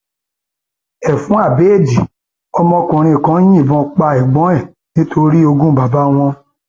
ẹfun abẹẹdì ọmọkùnrin kan yìnbọn pa ẹgbọn ẹ nítorí ogún bàbá wọn